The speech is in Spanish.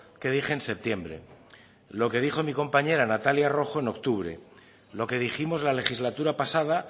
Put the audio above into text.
que dije en septiembre lo que dijo mi compañera natalia rojo en octubre lo que dijimos la legislatura pasada